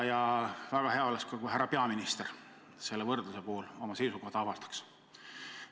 Ja väga hea oleks, kui ka härra peaminister selle võrdluse puhul oma seisukoha avaldaks.